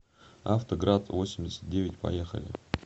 авто град восемьдесят девять поехали